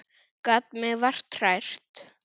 Gat mig vart hrært.